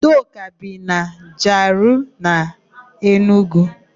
Udoka bi na Jiarụee nke Enugu.